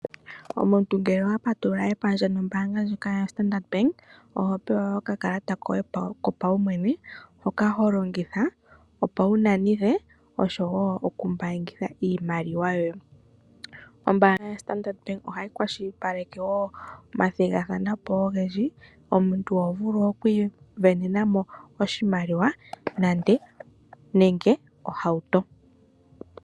Omuntu kehe oha patulula epandja nombaanga yoStandard Bank oho pewa okakalata koye kopaumwene hoka ho longitha, opo wu nanithe nosho wo okumbaangitha iimaliwa yoye. Ombaanga yoStandard Bank ohayi kwashilipaleke wo omathigathano ogendji. Omuntu oho vulu oku isindanena oshimaliwa nenge ohauto.